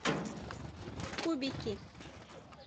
кубики